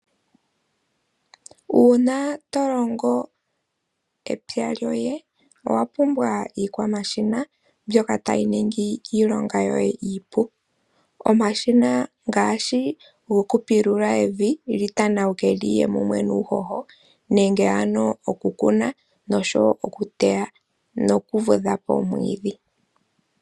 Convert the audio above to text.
Uuna to longo epya lyoye, owa pumbwa iikwamashina mbyoka tayi ningi iilonga yoye iipu, omashina ngaashi go kupilula evi lyi tanawuke lyiye mumwe nuuhoho, nenge ano oku kuna, noshowo oku teya, noku vudha po omwiidhi.